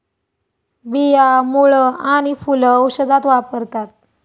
बिया, मुळं आणि फुलं औषधात वापरतात.